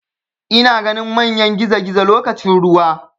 Ina ganin manyan gizogizo lokacin ruwa.